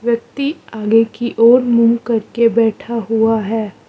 व्यक्ति आगे की ओर मुंह करके बैठा हुआ है।